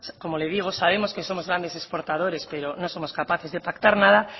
como le digo sabemos que somos grandes exportadores pero no somos capaces de pactar nada